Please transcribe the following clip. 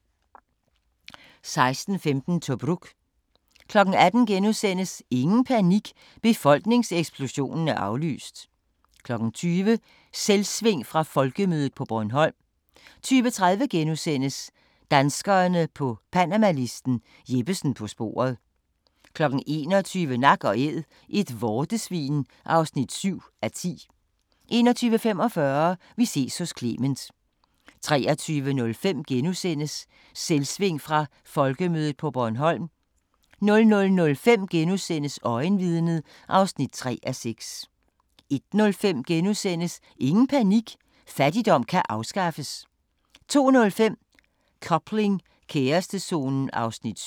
16:15: Tobruk 18:00: Ingen panik – befolkningseksplosionen er aflyst! * 20:00: Selvsving fra Folkemødet på Bornholm 20:30: Danskerne på Panamalisten – Jeppesen på sporet * 21:00: Nak & Æd - et vortesvin (7:10) 21:45: Vi ses hos Clement 23:05: Selvsving fra Folkemødet på Bornholm * 00:05: Øjenvidnet (3:6)* 01:05: Ingen panik – fattigdom kan afskaffes! * 02:05: Coupling – kærestezonen (7:28)